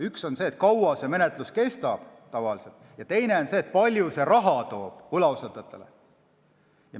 Üks on see, kui kaua see menetlus tavaliselt kestab, ja teine on see, kui palju see võlausaldajatele raha toob.